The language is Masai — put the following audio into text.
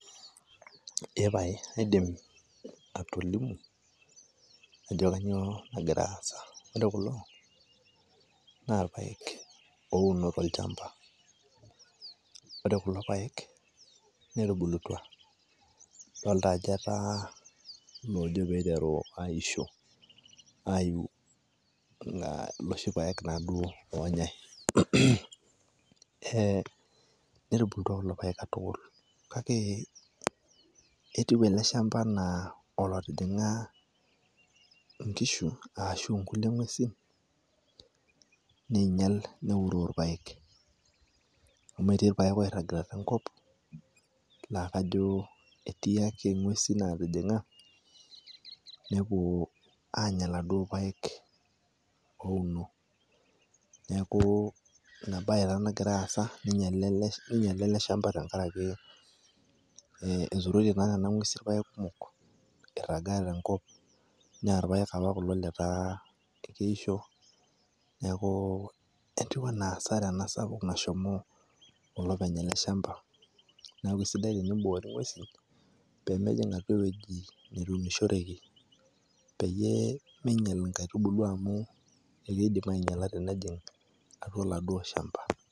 Epae kaidim atolimu ajo kanyioo nagira aasa. Ore kulo, na irpaek ouno tolchamba. Ore kulo paek, netubulutua. Dolta ajo etaa lojo piteru aisho aiu iloshi paek taduo oonyai. Eh netubulutua kulo paek katukul, kake etiu ele shamba enaa olotijing'a inkishu ashu nkulie ng'uesin, niinyal neuroo irpaek. Amu etii irpaek oirragita tenkop, lakajo etii ake ng'uesin natijing'a, nepuo anya laduo paek ouno. Neeku inabae taa nagira aasa, ninyale ele shamba tenkaraki eturoitie naa nena ng'uesin irpaek kumok, eirragaa tenkop, na irpaek apa kulo letaa keisho. Neeku etiu enaa asara ena sapuk nashomo olopeny ele shamba. Neeku kesidai teniboori ng'uesin, pemejing' ake ewueji neunishoreki, peyie minyal inkaitubulu amu ekeidim ainyala tenejing' atua aladuo shamba.